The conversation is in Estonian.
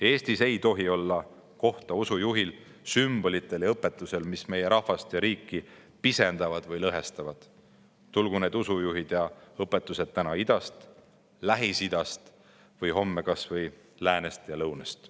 Eestis ei tohi olla kohta usujuhil, sümbolitel ja õpetustel, mis meie rahvast ja riiki pisendavad või lõhestavad, tulgu need usujuhid ja õpetused täna idast, Lähis-Idast või homme kas või läänest ja lõunast.